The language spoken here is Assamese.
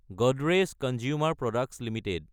Godrej consumer products Ltd